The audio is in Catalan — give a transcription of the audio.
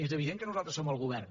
és evident que nosaltres som al govern